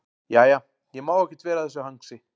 Jæja, ég má ekkert vera að þessu hangsi.